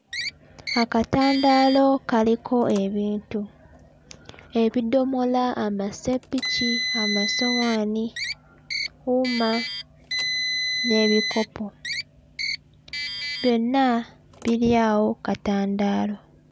Akatandaalo kaliko ebintu. Ebidomola, amaseppiki, amasowaani, wuma n'ebikopo. Byonna biri awo kkatandaalo.